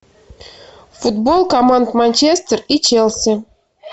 футбол команд манчестер и челси